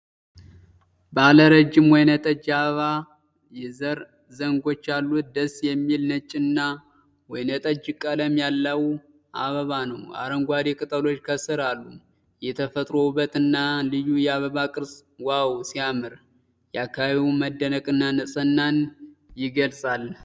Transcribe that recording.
ባለ ረጅም ወይንጠጅ የአበባ ዘር ዘንጎች ያሉት ደስ የሚል ነጭና ወይንጠጅ ቀለም ያለው አበባ ነው። አረንጓዴ ቅጠሎች ከሥር አሉ። የተፈጥሮ ውበት እና ልዩ የአበባ ቅርጽ 'ዋው ሲያምር' ። የአበባው መደነቅና ንፅህናን ይገልጻል።